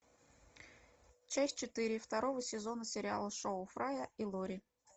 часть четыре второго сезона сериала шоу фрая и лори